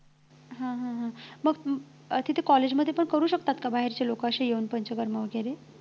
हा हा हा मग तिथे college मध्ये पण करू शकतात का बाहेरची लोकं अशी येऊन पंचकर्म वगैरे